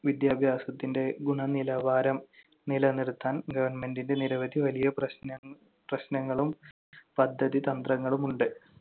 വിദ്യാഭ്യാസത്തിന്‍റെ ഗുണനിലവാരം നിലനിർത്താൻ government ന്‍റെ നിരവധി വലിയ പ്രശ്ന~ പ്രശ്‌നങ്ങളും പദ്ധതി തന്ത്രങ്ങളും ഉണ്ട്.